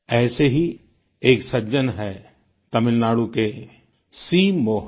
ऐसे ही एक सज्जन हैं तमिलनाडु के सी मोहन